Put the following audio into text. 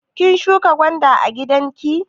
Kin shuƙa gwanda a gidanki?